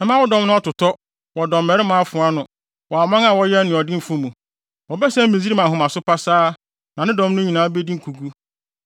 Mɛma wo dɔm no atotɔ wɔ dɔmmarima afoa ano, wɔ aman a wɔyɛ anuɔdenfo mu. Wɔbɛsɛe Misraim ahomaso pasaa na ne dɔm no nyinaa bedi nkogu.